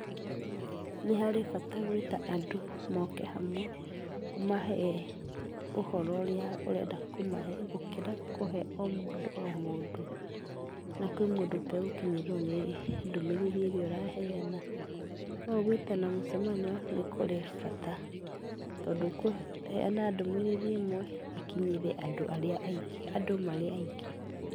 Nĩ harĩ bata gwĩta andũ moke hamwe ũmahe ũhoro ũria ũrenda kũmahe gũkĩra kũhe omũndũ o mũndũ na kwĩ mũndũ ũtegũkinyĩrwo nĩ ndũmĩrĩri ĩrĩa ũraheana, no ũgwĩtana mũcemanio nĩ kũrĩ bata, tondũ ũkũheana ndũmĩrĩri ĩmwe ĩkinyĩre andũ marĩ aingĩ.